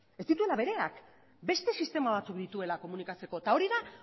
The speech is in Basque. ez dituela bereak beste sistema batzuk dituela komunikatzeko eta hori da